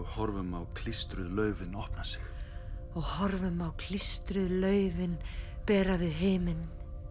horfum á klístruð laufin opna sig og horfum á klístruð laufin bera við himin